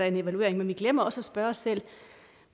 en evaluering men vi glemmer også at spørge os selv